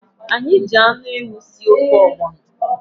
Anyị ji anụ ewu sie ofe ọgbọnọ.